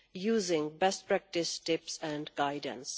using best practice tips and guidance.